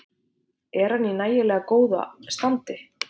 Er hann í nægilega góðu standi?